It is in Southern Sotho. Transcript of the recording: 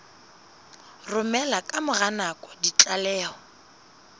romela ka mora nako ditlaleho